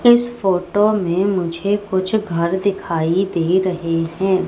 इस फोटो मे मुझे कुछ घर दिखाई दे रहे है।